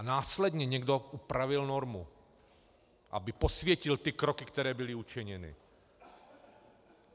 A následně někdo upravil normu, aby posvětil ty kroky, které byly učiněny.